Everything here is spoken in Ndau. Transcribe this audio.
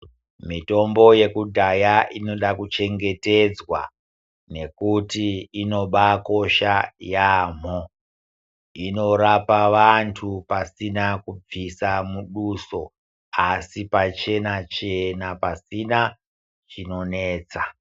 Mitombo yekudhaya inoda kuchengetedzwa nekuti inobakisha yambo inorapa vantu pasina kubvisa muduso asi pachena chena pasina chinonetsa.